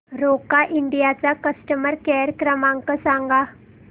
Roca India चा customer care क्रमांक सांगा